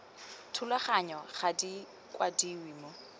thulaganyong ga di kwadiwe mo